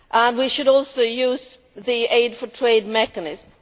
We should also use the aid for trade mechanism.